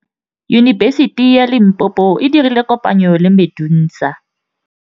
Yunibesiti ya Limpopo e dirile kopanyô le MEDUNSA.